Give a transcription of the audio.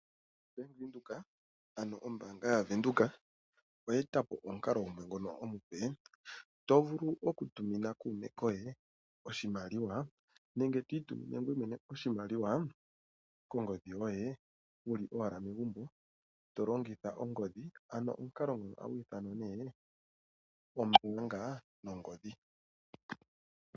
Bank Windhoek ano Ombaanga yaVenduka oye etapo omukalo gumwe ngono omupe , tovulu okutumina kuume koye oshimaliwa nenge to itumine ngoye mwene oshimaliwa kongodhi yoye wuli owala megumbo to longitha ongodhi, ano omukalo nguno ohagu ithanwa ombuunga nongodhi.